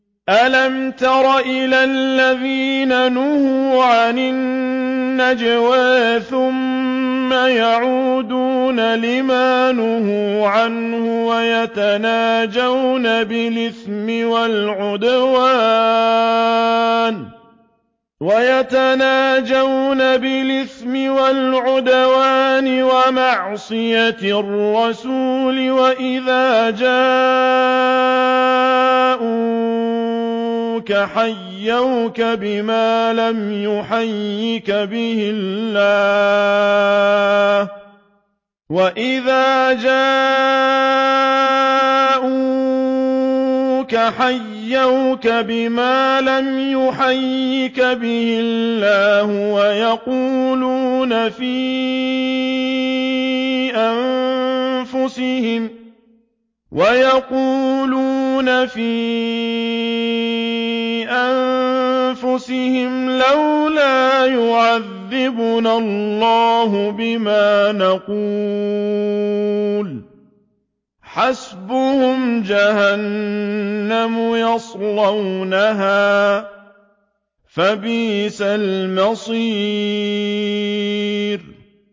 أَلَمْ تَرَ إِلَى الَّذِينَ نُهُوا عَنِ النَّجْوَىٰ ثُمَّ يَعُودُونَ لِمَا نُهُوا عَنْهُ وَيَتَنَاجَوْنَ بِالْإِثْمِ وَالْعُدْوَانِ وَمَعْصِيَتِ الرَّسُولِ وَإِذَا جَاءُوكَ حَيَّوْكَ بِمَا لَمْ يُحَيِّكَ بِهِ اللَّهُ وَيَقُولُونَ فِي أَنفُسِهِمْ لَوْلَا يُعَذِّبُنَا اللَّهُ بِمَا نَقُولُ ۚ حَسْبُهُمْ جَهَنَّمُ يَصْلَوْنَهَا ۖ فَبِئْسَ الْمَصِيرُ